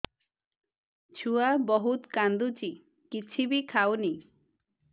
ଛୁଆ ବହୁତ୍ କାନ୍ଦୁଚି କିଛିବି ଖାଉନି